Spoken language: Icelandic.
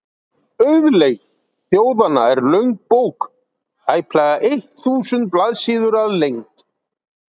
Auðlegð þjóðanna er löng bók, tæplega eitt þúsund blaðsíður að lengd.